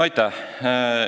Aitäh!